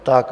Tak.